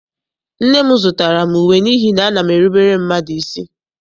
Nne m zụtara m uwe n'ihi na ana m erubere mmadụ isi.